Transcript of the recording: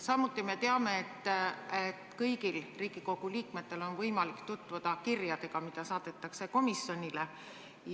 Samuti me teame, et kõigil Riigikogu liikmetel on võimalik tutvuda kirjadega, mis on komisjonile saadetud.